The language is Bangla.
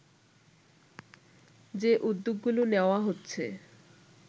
যে উদ্যোগগুলো নেওয়া হচ্ছে